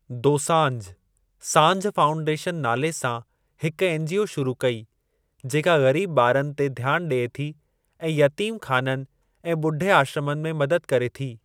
Dosanjh Saanjh Foundation नाले सां हिक एनजीओ शुरू कई जेका ग़रीब ॿारनि ते ध्यानु ॾिए थी ऐं यतीम ख़ाननि ऐं ॿुढे आश्रमनि में मदद करे थी।